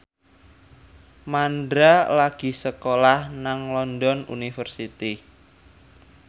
Mandra lagi sekolah nang London University